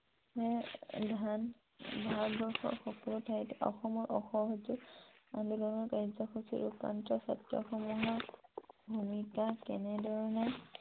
ভাৰবৰ্ষৰ সকলো ঠাইতে অসমৰ অসহযোগ আন্দোলনৰ কাৰ্যসূচী ৰূপায়ন ক্ষেত্ৰসমূহৰ ভুমিকা কেনেদৰে